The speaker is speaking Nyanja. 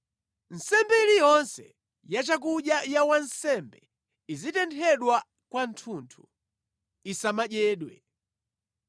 Nsembe iliyonse yachakudya ya wansembe izitenthedwa kwathunthu, isamadyedwe.”